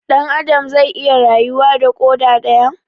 Dan Adam zai iya rayuwa da koda daya?